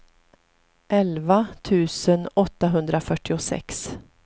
elva tusen åttahundrafyrtiosex